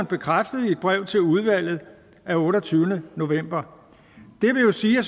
bekræftet i et brev til udvalget af otteogtyvende november det vil sige at